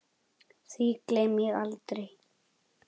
Því gleymi ég aldrei.